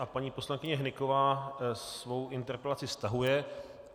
A paní poslankyně Hnyková svou interpelaci stahuje.